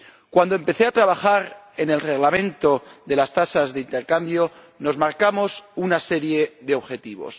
Cuando empecé a trabajar en el Reglamento de las tasas de intercambio, nos marcamos una serie de objetivos.